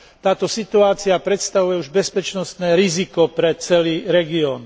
Táto situácia predstavuje už bezpečnostné riziko pre celý región.